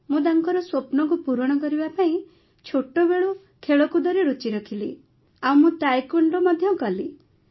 ମୁଁ ତାଙ୍କର ସ୍ୱପ୍ନକୁ ପୂରଣ କରିବା ପାଇଁ ଛୋଟବେଳୁ ଖେଳକୁଦରେ ରୁଚି ରଖିଲି ଆଉ ମୁଁ ତାଏକ୍ୱୋଣ୍ଡୋ ମଧ୍ୟ କଲି